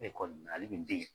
mun bɛ yen.